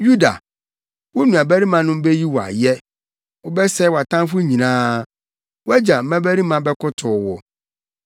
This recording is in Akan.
“Yuda, wo nuabarimanom beyi wo ayɛ. Wobɛsɛe wʼatamfo nyinaa. Wʼagya mmabarima bɛkotow wo.